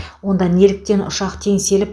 онда неліктен ұшақ теңселіп